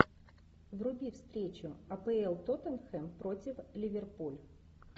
вруби встречу апл тоттенхэм против ливерпуль